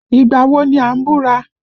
Ìgbà wo ni a ń búra?